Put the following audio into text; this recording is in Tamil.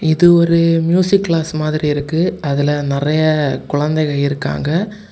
இது ஒரு மியூசிக் கிளாஸ் மாதிரி இருக்கு அதுல நெறைய குழந்தைங்க இருக்காங்க.